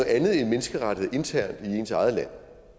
andet end menneskerettigheder internt i ens eget land